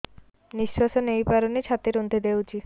ନିଶ୍ୱାସ ନେଇପାରୁନି ଛାତି ରୁନ୍ଧି ଦଉଛି